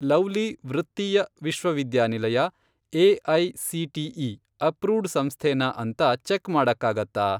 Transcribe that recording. Lovely ವೃತ್ತೀಯ ವಿಶ್ವವಿದ್ಯಾನಿಲಯ AICTE. Approved ಸಂಸ್ಥೆನಾ ಅಂತ ಚೆಕ್ ಮಾಡಕ್ಕಾಗತ್ತಾ?